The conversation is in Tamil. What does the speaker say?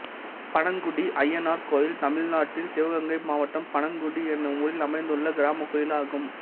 பனங்குடி அய்யனார் கோயில் தமிழ்நாட்டில் சிவகங்கை மாவட்டம் பனங்குடி என்னும் ஊரில் அமைந்துள்ள கிராமக் கோயிலாகும்